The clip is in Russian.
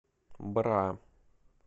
бра